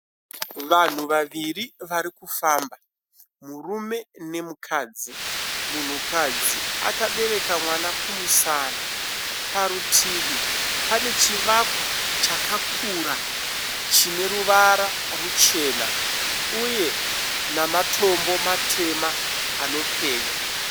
Vanhu vaviri varikufamba. Murume nemukadzi. Munhukadzi akabereka mwana kumusana. Parutivi pane chivakwa chakakura chineruvara ruchena uye nematombo matema anopenya.